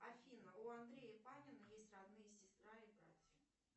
афина у андрея панина есть родные сестра и братья